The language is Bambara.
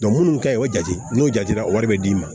minnu kaɲi o jate n'o jatera wari bɛ d'i ma